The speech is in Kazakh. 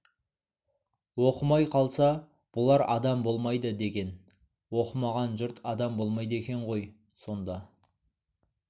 оқымай қалса бұлар адам болмайды деген оқымаған жұрт адам болмайды екен ғой сонда